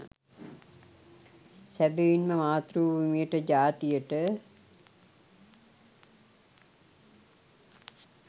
සැබවින්ම මාතෘ භූමියට ජාතියට